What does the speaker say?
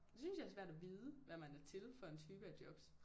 Det synes jeg er svært at vide hvad man er til for en type af jobs